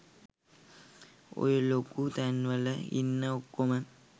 ඔය ලොකු තැන්වල ඉන්න ඔක්කොම